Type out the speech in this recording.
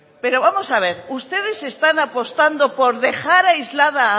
pero vamos a ver ustedes están apostando por dejar aislada